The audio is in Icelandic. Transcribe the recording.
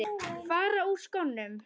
Fara úr skónum.